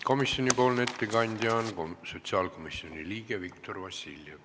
Komisjoni nimel teeb ettekande sotsiaalkomisjoni liige Viktor Vassiljev.